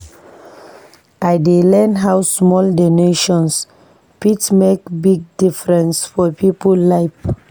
I dey learn how small donations fit make big difference for people life.